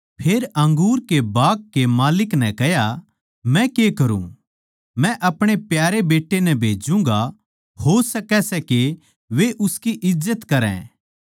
फेर अंगूर के बाग कै माल्लिक नै कह्या मै के करूँ मै अपणे प्यारे बेट्टे नै भेज्जूगा हो सकै सै वे उसकी इज्जत करै